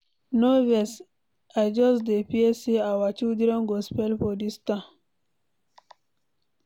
No vex, I just dey fear say our children go spoil for dis town.